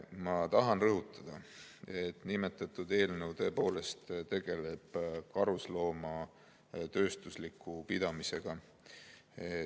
Ma tahan rõhutada, et see eelnõu tegeleb karusloomade tööstusliku pidamisega.